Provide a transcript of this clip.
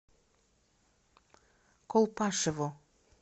колпашево